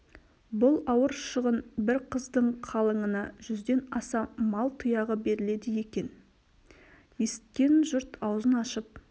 бұл ауыр шығын бір қыздың қалыңына жүзден аса мал тұяғы беріледі екен есіткен жұрт аузын ашып